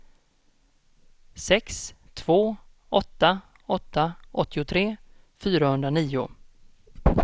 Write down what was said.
sex två åtta åtta åttiotre fyrahundranio